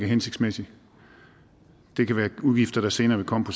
hensigtsmæssig det kan være udgifter der senere vil komme på